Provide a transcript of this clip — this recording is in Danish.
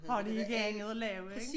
Har de ikke andet at lave ikke?